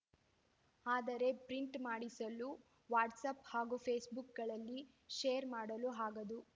ಆದರೆ ಪ್ರಿಂಟ್‌ ಮಾಡಿಸಲು ವಾಟ್ಸಾಪ್‌ ಹಾಗೂ ಫೇಸ್‌ಬುಕ್‌ಗಳಲ್ಲಿ ಶೇರ್‌ ಮಾಡಲು ಆಗದು